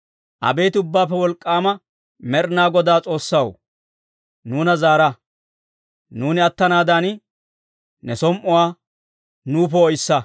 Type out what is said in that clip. Abeet Ubbaappe Wolk'k'aama Med'inaa Godaa S'oossaw, nuuna zaara; nuuni attanaadan, ne som"uwaa nuw poo'issa.